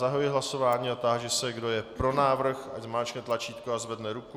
Zahajuji hlasování a táži se, kdo je pro návrh, ať zmáčkne tlačítko a zvedne ruku.